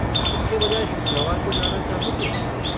इसके बजाय शुक्रवार को जाना चाहोगे?